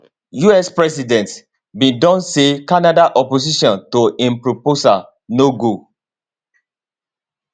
us president bin don say canada opposition to im proposal no go